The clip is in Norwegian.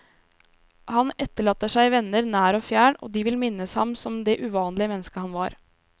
Han etterlater seg venner nær og fjern, og de vil minnes ham som det uvanlige menneske han var.